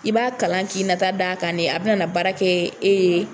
I b'a kalan k'i nata d'a kan de a bɛna na baara kɛ e ye.